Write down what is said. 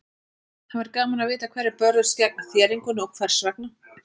Það væri gaman að vita hverjir börðust gegn þéringunni og hvers vegna.